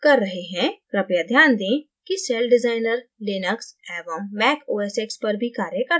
कृपया ध्यान दें कि celldesigner linux एवं mac os x पर भी कार्य करता है